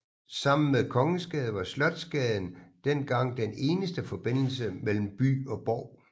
Sammen med Kongensgade var Slotsgaden dengang den eneste forbindelse mellem by og borg